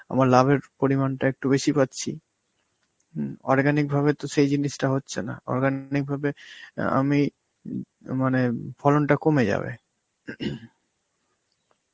আমার লাভের পরিমাণটা একটু বেশি পাচ্ছি. হম organic ভাবে তো সেই জিনিসটা হচ্ছে না, organic ভাবে অ্যাঁ আমি উম মানে ফলনটা কমে যাবে.